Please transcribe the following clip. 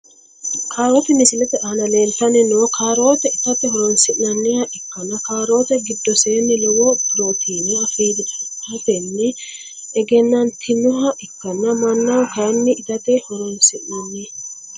Kaarote misilete aana leeeltani noo kaarote itate horonsinaniha ikanna kaarote gidoseenino lowo pirootine afirateni ehenantinoha ikkana manaho kayini itate horonsi`nani.